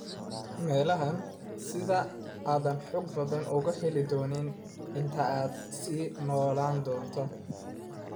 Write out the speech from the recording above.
meelahan, sida aadan xog badan u heli doonin, inta aad sii noolaan doonto.